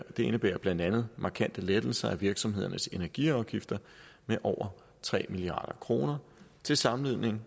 indebærer blandt andet markante lettelser af virksomhedernes energiafgifter med over tre milliard kroner til sammenligning